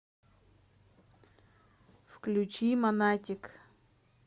включи монатик